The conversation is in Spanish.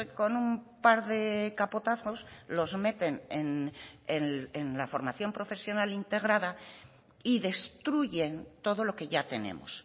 con un par de capotazos los meten en la formación profesional integrada y destruyen todo lo que ya tenemos